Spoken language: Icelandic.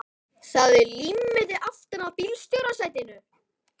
Það er límmiði aftan á bílstjórasætinu.